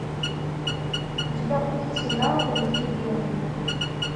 у тебя будет сериал дорогие белые